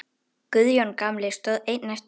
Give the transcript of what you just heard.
Guðjón gamli stóð einn eftir.